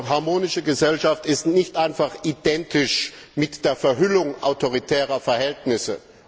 Harmonische Gesellschaft ist nicht einfach identisch mit der Verhüllung autoritärer Verhältnisse.